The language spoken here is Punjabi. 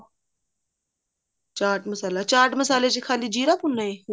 ਚਾਟ ਮਸਾਲਾ ਚਾਟ ਮਸਾਲੇ ਚ ਖਾਲੀ ਜ਼ੀਰਾ ਭੁੰਨਣਾ ਹੈ